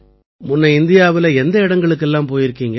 முன்ன இந்தியாவுல எந்த இடங்களுக்கு எல்லாம் போயிருக்கீங்க